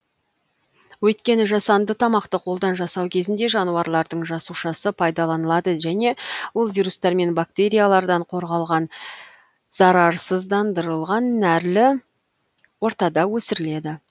өйткені жасанды тамақты қолдан жасау кезінде жануарлардың жасушасы пайдаланылады және ол вирустар мен бактериялардан қорғалған зарарсыздандырылған нәрлі ортада өсіріледі